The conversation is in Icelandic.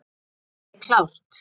Er þitt lið klárt?